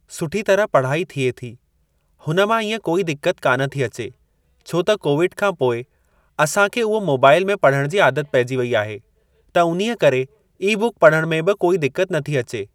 सुठी तरह पढ़ाई थिए थी हुन मां ईअं कोई दिक्कत कान थी अचे, छो त कोविड खां पोइ असांखे उहो मोबाइल में पढ़णु जी आदत पेइजी वेई आहे त उन्हीअ करे ई बुक पढ़णु में बि कोई दिक्कत न थी अचे।